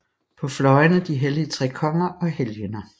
På fløjene de hellige tre konger og helgener